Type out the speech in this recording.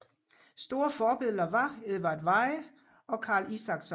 Store forbilleder var Edvard Weie og Karl Isakson